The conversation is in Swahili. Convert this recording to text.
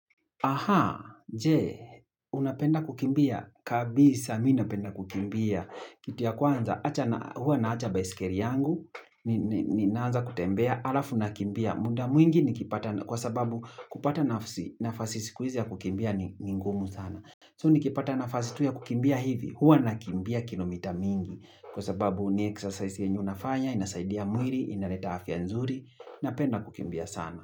Aha, je, unapenda kukimbia. Kabisa, mi napenda kukimbia. Kitu ya kwanza, hua naacha baisikeli yangu, ninaanza kutembea, alafu nakimbia. Muda mwingi nikipata, kwa sababu kupata nafasi, nafasi siku hizi ya kukimbia ni ngumu sana. So, nikipata nafasi tu ya kukimbia hivi, hua nakimbia kilo mita mingi. Kwa sababu ni exercise yenye unafanya, inasaidia mwili, inaleta afya nzuri, napenda kukimbia sana.